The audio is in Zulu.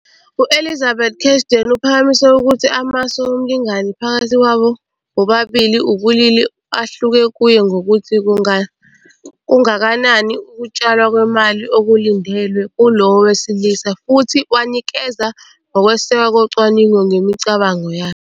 U-Elizabeth Cashdan uphakamise ukuthi amasu omlingani phakathi kwabo bobabili ubulili ahluke kuye ngokuthi kungakanani ukutshalwa kwemali okulindelwe kulowo wesilisa, futhi wanikeza nokwesekwa kocwaningo ngemicabango yakhe.